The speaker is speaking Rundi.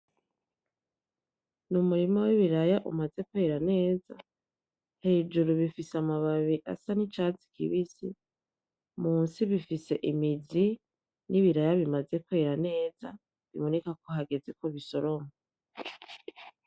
N'umurima w'ibiraya umaze kwera neza hejuru bifise amababi asa n'icatsi kibisi munsi bifise imizi n'ibiraya bimaze kwera neza bibonekako hagezeko bisoromwa.